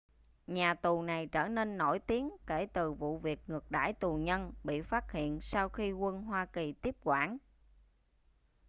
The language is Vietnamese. nhà tù này trở nên nổi tiếng kể từ vụ việc ngược đãi tù nhân bị phát hiện sau khi quân hoa kỳ tiếp quản